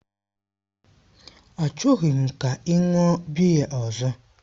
Achọghị m ka ị ṅụọ biya ọzọ!